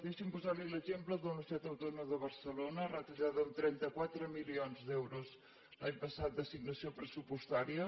deixi’m posar li l’exemple de la universitat autònoma de barcelona retallada de trenta quatre milions d’euros l’any passat d’assignació pressupostària